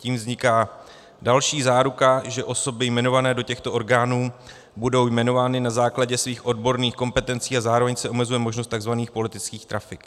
Tím vzniká další záruka, že osoby jmenované do těchto orgánů budou jmenovány na základě svých odborných kompetencí, a zároveň se omezuje možnost tzv. politických trafik.